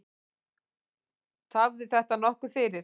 Tafði þetta nokkuð fyrir.